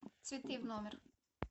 цветы в номер